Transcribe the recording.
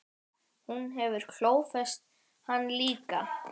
Hún hefur klófest hann líka.